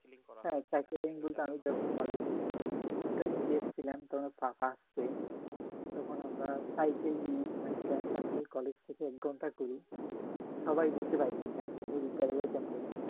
হ্যাঁ সাইকেলিং বলতে আমি যখন কলেজে ইন্টারমিডিয়েট ছিলাম তখন পাস্টে তখন আমরা সাইকেল নিয়ে মানে ফ্রেন্ড সার্কেল কলেজ থেকে এক ঘন্টা করে সবাই ঘুরতে বাইরে যেতাম নদীর ধারে যাইতাম